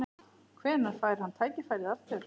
Hvenær fær hann tækifærið aftur?